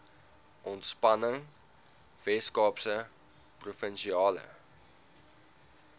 ontspanning weskaapse provinsiale